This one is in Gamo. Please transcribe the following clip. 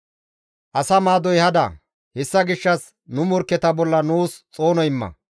Asa maadoy hada; hessa gishshas nu morkketa bolla nuus xoono imma.